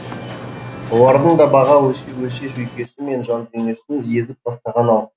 олардың да баға өсе өсе жүйкесі мен жандүниесін езіп тастаған ау